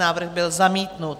Návrh byl zamítnut.